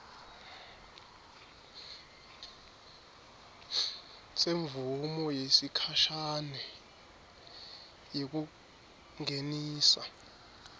semvumo yesikhashane yekungenisa